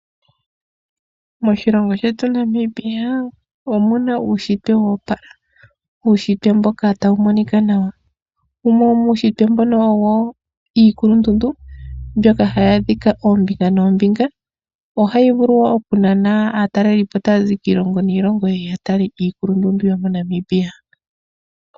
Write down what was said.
Moshilongo shetu Namibia omuna uunshitwe woopala. Uunshitwe mboka tawu monika nawa. Wumwe yo muunshitwe mbuno owo iikulundundu mbyoka hayi adhika ombinga nombinga ohayi vulu oku nana aatalelipo taya zi kiilongo niilongo yeye ya tale iikulundundu yomo Namibia.